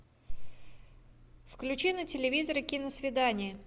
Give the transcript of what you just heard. включи на телевизоре киносвидание